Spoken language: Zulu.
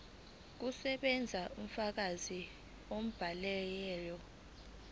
kusebenza ubufakazi bomyalelo